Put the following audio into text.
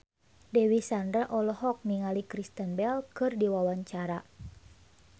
Dewi Sandra olohok ningali Kristen Bell keur diwawancara